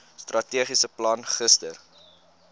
strategiese plan gister